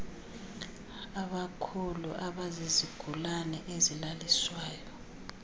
abakhulu abazizigulane ezilaliswayo